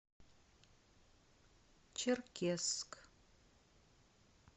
черкесск